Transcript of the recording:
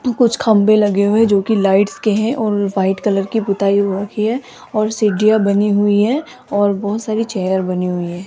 कुछ खंभे लगे हुए जो की लाइट्स के हैं और वाइट कलर की पुताई हो रखी है और सीढ़ियां बनी हुई है और बहुत सारी चेयर बनी हुई है।